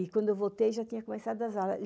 E, quando eu voltei, já tinha começado as aulas.